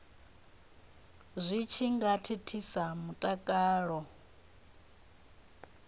zwi tshi nga thithisa mutakalo